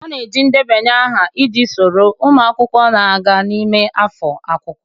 A na-eji ndebanye aha iji soro ụmụ akwụkwọ na-aga n'ime afọ akwụkwọ.